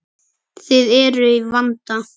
Þið eruð í vanda.